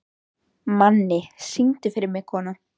Manni, syngdu fyrir mig „Kona“.